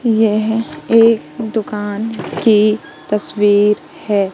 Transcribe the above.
यह एक दुकान की तस्वीर है।